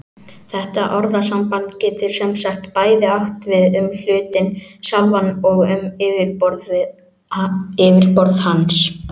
Þetta orðasamband getur sem sagt bæði átt við um hlutinn sjálfan og um yfirborð hans.